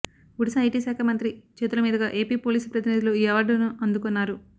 Odisha IT శాఖ మంత్రి చేతుల మీదుగా ఏపీ పోలీసు ప్రతినిధులు ఈ అవార్డులను అందుకున్నారు